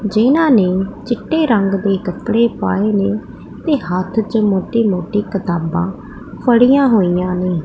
ਜਿਨ੍ਹਾਂ ਨੇ ਚਿੱਟੇ ਰੰਗ ਦੇ ਕੱਪੜੇ ਪਾਏ ਨੇ ਤੇ ਹੱਥ 'ਚ ਮੋਟੀ ਮੋਟੀ ਕਿਤਾਬਾਂ ਫੜੀਆਂ ਹੋਈਆਂ ਨੇ।